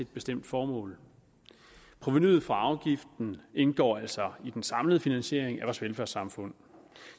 bestemt formål provenuet fra denne afgift indgår altså i den samlede finansiering af vores velfærdssamfund